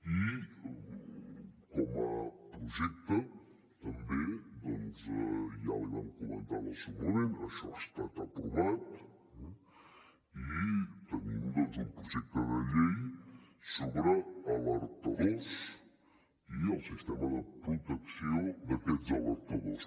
i com a projecte també ja l’hi vam comentar en el seu moment això ha estat aprovat tenim un projecte de llei sobre alertadors i el sistema de protecció d’aquests alertadors